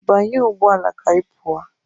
Banye ụgbọala ka anyị pụọ!